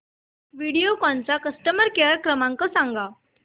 व्हिडिओकॉन चा customer care क्रमांक सांगा